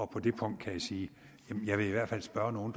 på det punkt kan jeg sige jeg vil i hvert fald spørge nogle